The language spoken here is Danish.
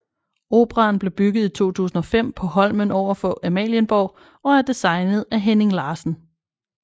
Operaen blev bygget i 2005 på Holmen over for Amalienborg og er designet af Henning Larsen